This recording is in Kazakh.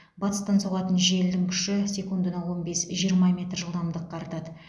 батыстан соғатын желдің күші секундына он бес жиырма метр жылдамдық артады